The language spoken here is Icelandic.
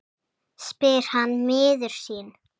spyr hann miður sín.